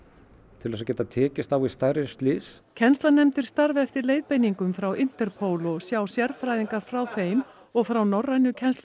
til þess að geta tekist á við stærri slys starfa eftir leiðbeiningum frá Interpol og sjá sérfræðingar frá þeim og frá norrænu